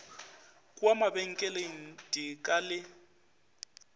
kua mabenkeleng di ka le